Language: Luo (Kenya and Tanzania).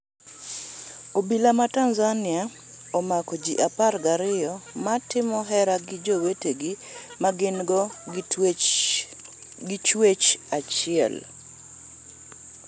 Obila ma Tanzania omako ji apar gi ariyo ma timo hera gi jowetegi ma gingo gi kit chuech achie.